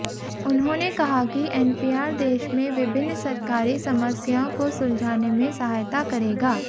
उन्होंने कहा कि एनपीआर देश में विभिन्न सरकारी समस्याओं को सुलझाने में सहायता करेगा